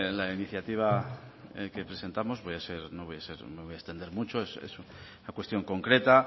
la iniciativa que presentamos no me voy a extender mucho es una cuestión concreta